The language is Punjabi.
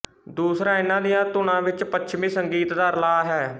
ਦੂਸਰਾ ਇਹਨਾਂ ਦੀਆਂ ਧੁਨਾਂ ਵਿੱਚ ਪੱਛਮੀ ਸੰਗੀਤ ਦਾ ਰਲਾਅ ਹੈ